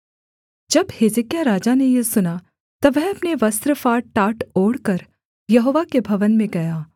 जब हिजकिय्याह राजा ने यह सुना तब वह अपने वस्त्र फाड़ टाट ओढ़कर यहोवा के भवन में गया